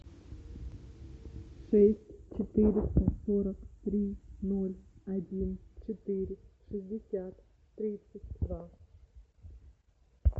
шесть четыреста сорок три ноль один четыре шестьдесят тридцать два